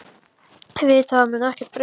Þið vitið að það mun ekkert breytast.